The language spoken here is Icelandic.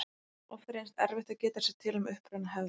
Oft reynist erfitt að geta sér til um uppruna hefða.